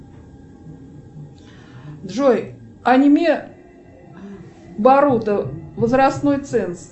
джой аниме баруто возрастной ценз